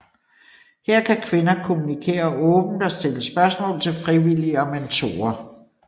Her kan kvinder kommunikere åbent og stille spørgsmål til frivillige og mentorer